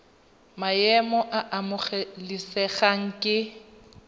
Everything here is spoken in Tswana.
maemo a a amogelesegang ke